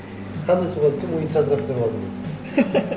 қандай суға түсірдің унитазға түсіріп алдым дейді